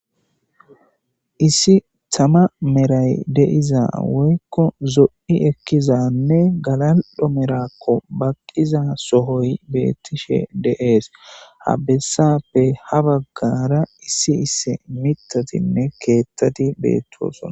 Issi tama meray deiza woykko zo7i ekkizanne galaldho merakko baqqiza sohoy beettishe deees habessappe ha baggara issi isse mitatinne keettati beettoosona.